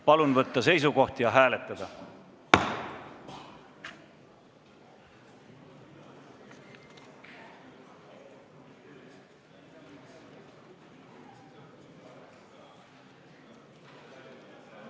Palun võtta seisukoht ja hääletada!